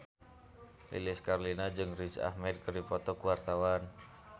Lilis Karlina jeung Riz Ahmed keur dipoto ku wartawan